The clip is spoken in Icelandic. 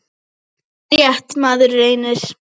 Það er rétt, maður reynir!